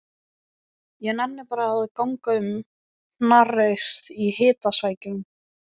Ég nenni bara að ganga um hnarreist í hitasvækjunni.